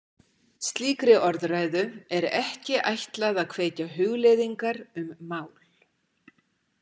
Slíkri orðræðu er ekki ætlað að kveikja hugleiðingar um mál.